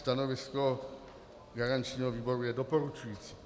Stanovisko garančního výboru je doporučující.